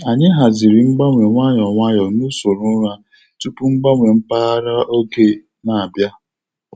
Anyị haziri mgbanwe nwayọ nwayọ n’usoro ụra tupu mgbanwe mpaghara oge na-abịa.